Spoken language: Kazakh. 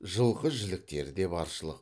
жылқы жіліктері де баршылық